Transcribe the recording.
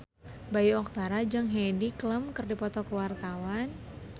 Bayu Octara jeung Heidi Klum keur dipoto ku wartawan